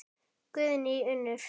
Guðný Unnur.